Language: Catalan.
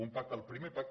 un pacte el primer pacte